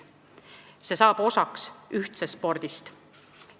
Sellest saab ühtse spordi osa.